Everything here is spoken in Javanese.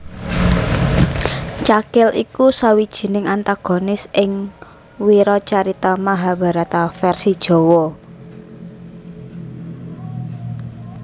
Cakil iku sawijining antagonis ing wiracarita Mahabharata vèrsi Jawa